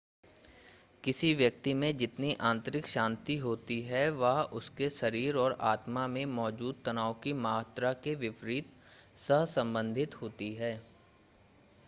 किसी व्यक्ति में जितनी आंतरिक शांति होती है वह उसके शरीर और आत्मा में मौजूद तनाव की मात्रा के विपरीत सहसंबंधित होती है